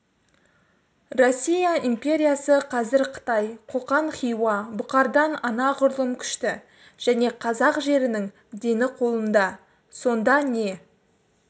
россия империясы қазір қытай қоқан хиуа бұқардан анағұрлым күшті және қазақ жерінің дені қолында сонда не